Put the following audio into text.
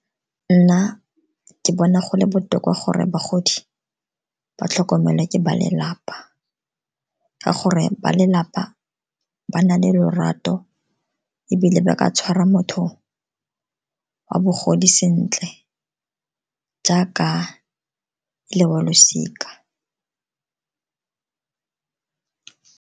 Nna ke bona gole botoka gore bagodi ba tlhokomelwa ke ba lelapa, ka gore ba lelapa ba na le lorato ke ebile ba ka tshwara motho wa bogodi sentle jaaka e le wa losika.